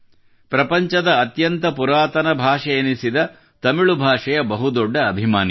ಪ್ರಪಂಚದ ಅತ್ಯಂತ ಪುರಾತನ ಭಾಷೆಯೆನಿಸಿದ ತಮಿಳು ಭಾಷೆಯ ಬಹು ದೊಡ್ಡ ಅಭಿಮಾನಿ